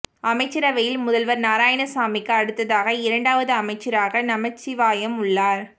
அமைச்சரவையில் முதல்வர் நாராயணசாமிக்கு அடுத்ததாக இரண்டாவது அமைச்சராக நமச்சிவாயம் உள்ளார்